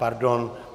Pardon.